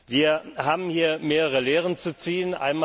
Wir haben hier mehrere Lehren zu ziehen.